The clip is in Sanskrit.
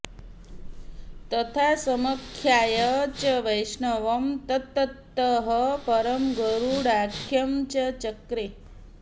तथा समाख्याय च वैष्णवं तत्ततः परं गारुडाख्यं स चक्रे